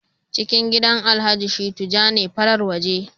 ciki gidan alhaji shittu ja ne, farar waje